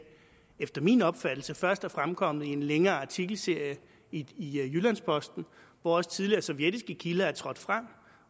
efter min opfattelse først er fremkommet i en længere artikelserie i jyllands posten hvor også tidligere sovjetiske kilder er trådt frem